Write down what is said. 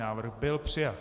Návrh byl přijat.